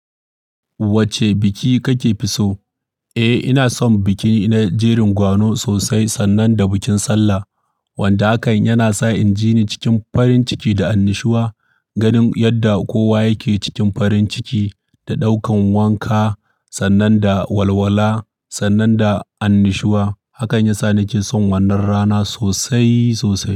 Wacce biki kake fi so? Eh ina son biki na jerin gwano sosai sannan da bikin sallah. Wanda hakan yana sa injini cikin farin ciki da annushuwa, ganin yadda kowa yake cikin farin ciki da ɗaukan wanka sannan da walwala sannan da annushuwa. Hakan yasa nake son wannan rana sosai sosai.